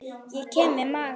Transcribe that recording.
Ég kem við magann.